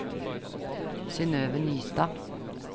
Synnøve Nystad